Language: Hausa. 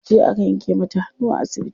Jiya aka yanke mata hannu a asibiti.